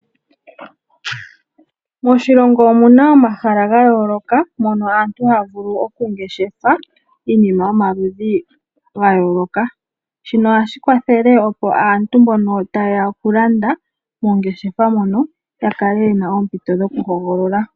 Moshilongo omuna omahala gayoloka mono aantu ha vulu oku ngeshefe iinima yomaludhi gayoloka, shino ohashi kwathele opo aantu mbono tayeya okulanda mongeshefa mono ya kele yena oompito dhokuhogolola.